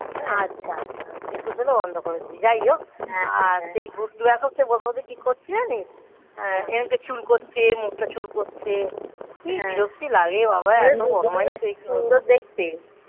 আচ্ছা আচ্ছা একুশ হলে বন্ধ করে দিচ্ছি যাই হোক আর সেই গুড্ডু এখন সে ওর মধ্যে কি করছে জানিস এরমধ্যে চুলকোচ্ছে, মুখটা চুল করছে. কি বিরক্তি লাগে বাবা. এতো বদমাইশদের. সুন্দর দেখতে